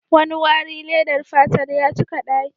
Wani wari ledar fata ya cika dakin.